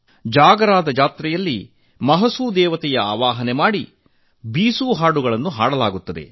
ಜಾಗರಾ ಜಾತ್ರೆಯಲ್ಲಿ ಮಹಸು ದೇವತೆಯ ಆವಾಹನೆ ಮಾಡಿ ಬೀಸೂ ಹಾಡುಗಳನ್ನು ಹಾಡಲಾಗುತ್ತದೆ